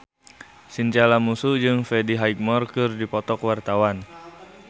Chintya Lamusu jeung Freddie Highmore keur dipoto ku wartawan